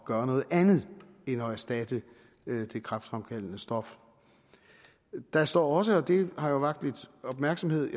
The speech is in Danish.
gøre noget andet end at erstatte det kræftfremkaldende stof der står også og det har jo vakt lidt opmærksomhed